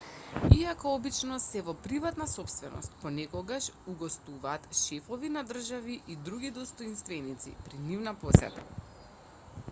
иако обично се во приватна сопственост понекогаш угостуваат шефови на држави и други достоинственици при нивна посета